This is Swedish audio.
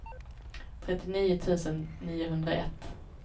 trettionio tusen niohundraett